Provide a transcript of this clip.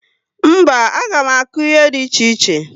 Mba, a gá m akụ ihe dị iche iche